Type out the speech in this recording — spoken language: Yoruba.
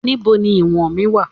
Ibo ni ìwọ̀n mí wà?